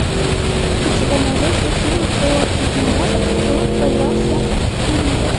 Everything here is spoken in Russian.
у тебя найдется фильм про бегемота который боялся прививок